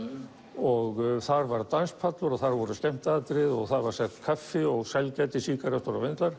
og þar var danspallur og þar voru skemmtiatriði og þar var selt kaffi og sælgæti sígarettur og vindlar